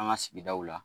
An ka sigidaw la